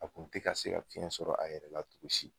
A kun te ka se ka fiɲɛ sɔrɔ a yɛrɛ la togo si.